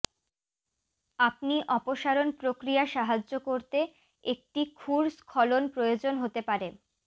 আপনি অপসারণ প্রক্রিয়া সাহায্য করতে একটি ক্ষুর স্খলন প্রয়োজন হতে পারে